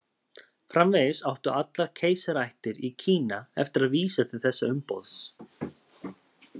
Framvegis áttu allar keisaraættir í Kína eftir að vísa til þessa umboðs.